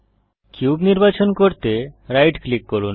cube নির্বাচন করতে right click করুন